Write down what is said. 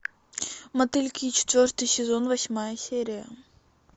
мотыльки четвертый сезон восьмая серия